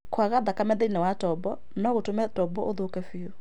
Kwaga thakame thĩinĩ wa tombo no gũtũme tombo ĩthũkie biũ.